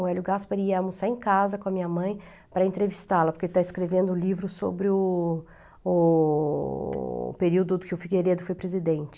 O Elio Gaspari ia almoçar em casa com a minha mãe para entrevistá-la, porque ele está escrevendo o livro sobre o o período que o Figueiredo foi presidente.